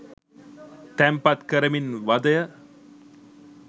තැන්පත් කරමින් වදය